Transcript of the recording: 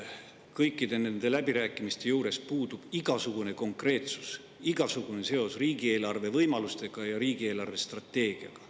Kõikide nende läbirääkimiste juures puudub igasugune konkreetsus, igasugune seos riigieelarve võimalustega ja riigi eelarvestrateegiaga.